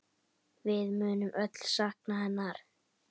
Við munum öll sakna hennar.